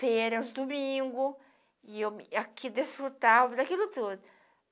Férias, domingos, e eu me aqui desfrutava daquilo tudo.